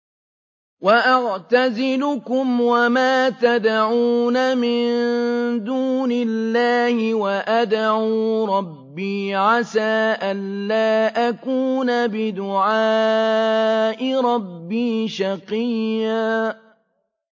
وَأَعْتَزِلُكُمْ وَمَا تَدْعُونَ مِن دُونِ اللَّهِ وَأَدْعُو رَبِّي عَسَىٰ أَلَّا أَكُونَ بِدُعَاءِ رَبِّي شَقِيًّا